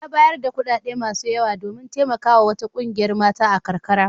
Ya bayar da kuɗaɗe masu yawa domin taimakawa wata ƙungiyar mata a karkara.